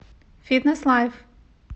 фитнес лайф